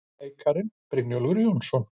Leikararnir, Brynjólfur Jóhannesson